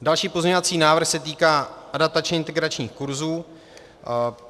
Další pozměňovací návrh se týká adaptačně integračních kurzů.